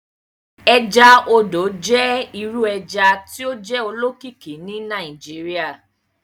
Ẹja odò jẹ iru ẹja ti o jẹ olókìkí ni Nigeria.